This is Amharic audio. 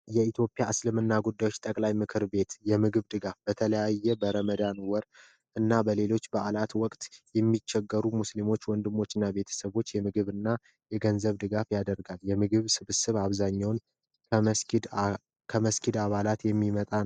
የኢትዮጵያ እስልምና ጉዳዮች ጠቅላይ ምክር ቤት የምግብ ድጋፍ በተለያየ በረመዳን ወር እና በሌሎች በአላት ወቅት የሚቸገሩ ሙስሊም ወንድሞችን እና ቤተሰቦችን የምግብና የገንዘብ ድጋፍ ያደርጋል የምግብ ስብስብ አብዛኛውን ከመስጊድ አባላት የሚመጣ ነው።